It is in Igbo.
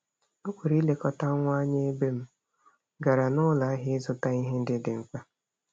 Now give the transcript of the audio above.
O kwere ịlekọta nwa anya ebe m gara n'ụlọahịa ịzụta ihe ndị dị mkpa.